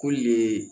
Ko le